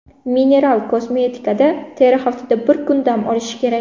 Mineral kosmetikada teri haftada bir kun dam olishi kerak.